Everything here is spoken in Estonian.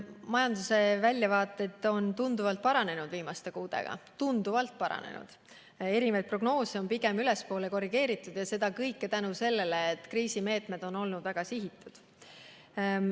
Majanduse väljavaated on viimaste kuudega tunduvalt paranenud, eri prognoose on pigem ülespoole korrigeeritud ja seda kõike tänu sellele, et kriisimeetmed on olnud väga sihitud.